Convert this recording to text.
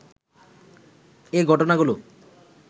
এ ঘটনাগুলো